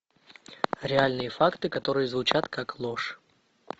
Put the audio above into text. реальные факты которые звучат как ложь